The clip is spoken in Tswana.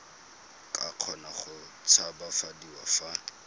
ka kgona go tshabafadiwa fa